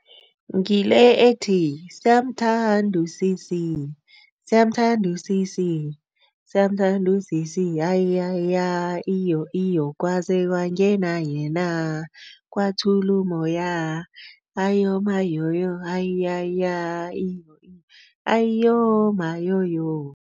Ngile ethi, siyamthanda usisi, siyamthanda usisi, siyamthanda usisi hayiyaya iyo iyo kwaze kwangena yena, kwathula umoya, hayiyomayoyo hayiyaya iyo hayiyomayoyo.